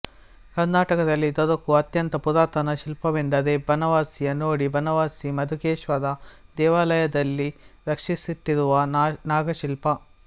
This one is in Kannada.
ಕರ್ನಾಟಕದಲ್ಲಿ ದೊರಕುವ ಅತ್ಯಂತ ಪುರಾತನ ಶಿಲ್ಪವೆಂದರೆ ಬನವಾಸಿಯ ನೋಡಿ ಬನವಾಸಿ ಮಧುಕೇಶ್ವರ ದೇವಾಯಲದಲ್ಲಿ ರಕ್ಷಿಸಿಟ್ಟಿರುವ ನಾಗಶಿಲ್ಪ